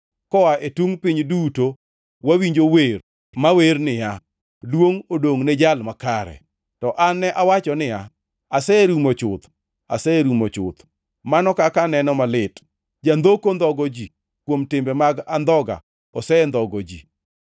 koa e tungʼ piny duto wawinjo wer mawer niya: “Duongʼ odongʼ ne Jal Makare.” To an ne awacho niya, “Aserumo chuth, aserumo chuth! Mano kaka aneno malit! Jandhoko ndhogo ji! Kuom timbe mag andhoga osendhogo ji!”